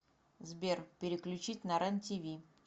сбер переключить на рен тиви